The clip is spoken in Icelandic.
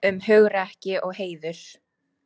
Um hugrekki og heiður.